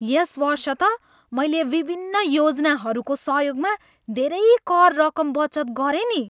यस वर्ष त मैले विभिन्न योजनाहरूको सहयोगमा धेरै कर रकम बचत गरेँ नि।